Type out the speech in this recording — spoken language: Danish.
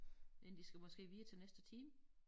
Inden de skal måske videre til næste time